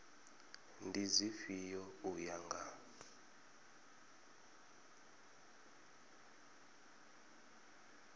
ndi dzifhio u ya nga